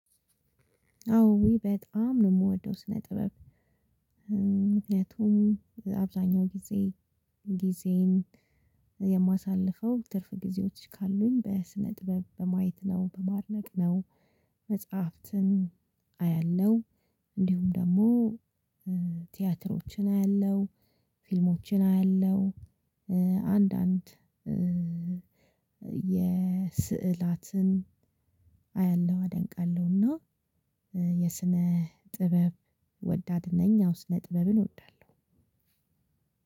አዎ ውይ በጣም! ነው የምወደው ስነ ጥበብ። ምክንያቱም አብዛኛው ጊዜ ጊዜዬን የማሳልፈው ትርፍ ጊዜዎች ካሉኝ በስነ-ጥበብ በማየት ነው በማድነቅ ነው መጽሐፍትን አያለሁ እንዲሁም ደግሞ ቲያትሮችን አያለሁ፣ ፊልሞችን አያለሁ አንዳንድ ስዕሎችን አያለሁ አደንቃለሁ እና የስነ ጥበብ ወዳድ ነኝ አዎ ስነ ጥበብን እወዳለሁ።